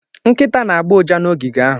Nkịta na-agbọ ụja na ogige ahụ.